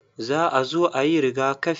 Za a zo ayi rigakafi.